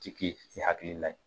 Jigi ni hakili la ye